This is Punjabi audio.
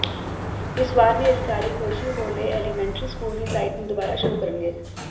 ਇਸ ਵਾਰ ਵੀ ਅਧਿਕਾਰੀ ਕੋਜੀ ਹੋਲੋ ਐਲੀਮੈਂਟਰੀ ਸਕੂਲ ਦੀ ਸਾਈਟ ਨੂੰ ਦੁਬਾਰਾ ਸ਼ੁਰੂ ਕਰਨਗੇ